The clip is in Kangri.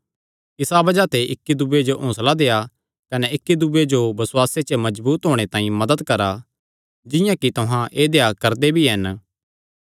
इसा बज़ाह ते इक्की दूये जो हौंसला देआ कने इक्की दूये दी बसुआसे च मजबूत होणे तांई मदत करा जिंआं कि तुहां ऐदेया करदे भी हन